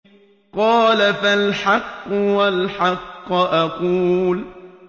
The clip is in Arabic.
قَالَ فَالْحَقُّ وَالْحَقَّ أَقُولُ